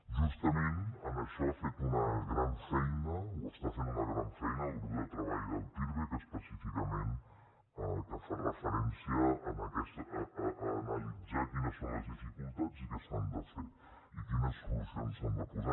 justament en això ha fet una gran feina o està fent una gran feina el grup de treball del pirvec específicament que fa referència a analitzar quines són les dificultats i què s’ha de fer i quines solucions s’han de posar